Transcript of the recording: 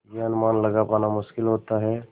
यह अनुमान लगा पाना मुश्किल होता है